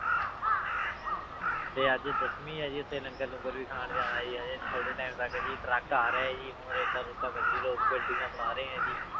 ਤੇ ਅੱਜ ਦਸਵੀਂ ਹੈ ਜੀ ਉੱਥੇ ਲੰਗਰ ਲੂੰਗਰ ਵੀ ਖਾਣ ਜਾਣਾ ਜੀ ਹਜੇ ਥੋੜ੍ਹੇ time ਤੱਕ ਜੀ ਟਰੱਕ ਆ ਰਿਹਾ ਹੈ ਜੀ ਹੁਣ ਰੇਤਾ ਰੂਤਾ ਬਜ਼ਰੀ ਲੋਕ ਬਿਲਡਿੰਗਾਂ ਬਣਾ ਰਹੇ ਹੈ ਜੀ।